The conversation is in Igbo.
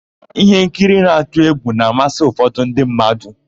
Íhénkiri na-atụ égwù na-amasị ụfọdụ ndị mmadụ.